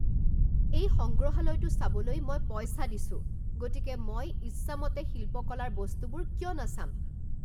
এই সংগ্ৰহালয়টো চাবলৈ মই পইচা দিছো, গতিকে মই ইচ্ছামতে শিল্পকলাৰ বস্তুবোৰ কিয় নাচাম!